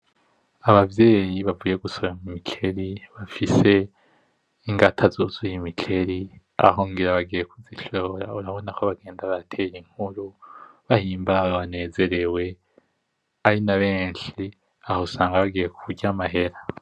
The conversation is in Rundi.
Abavyeyi bavuye gusoroma imikeri bafise ingata zuzuye imikeri. Aho urabona ko bagenda baratera inkuru, bahimbawe, banezerewe, ari na benshi. Aho usanga bagiye kurya amahera.